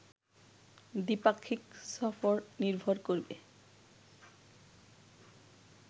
দ্বি-পাক্ষিক সফর নির্ভর করবে